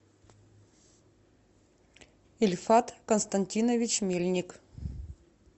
ильфат константинович мельник